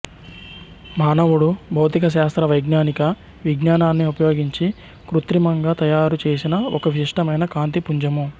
మానవుడు భౌతిక శాస్త్ర వైజ్ఞానిక విజ్ఞానాన్ని ఉపయోగించి కృత్రిమంగా తరారు చేసిన ఒక విశిష్టమైన కాంతి పుంజము